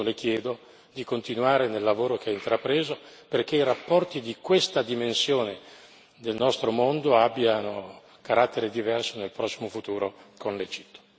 Per questo le chiedo di continuare il lavoro che ha intrapreso, perché i rapporti di questa dimensione del nostro mondo abbiano carattere diverso nel prossimo futuro con l'Egitto.